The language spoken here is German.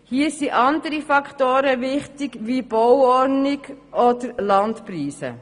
Hier sind andere Faktoren wichtig wie Bauordnung oder Landpreise.